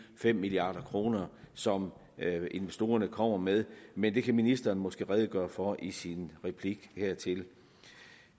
fem milliard kr som investorerne kommer med men det kan ministeren måske redegøre for i sin replik hertil